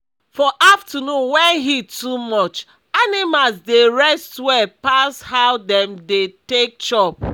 for afternoon wen heat too much animals dey rest well pas how dem dey take chop